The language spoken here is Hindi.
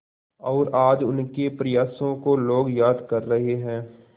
और आज उनके प्रयासों को लोग याद कर रहे हैं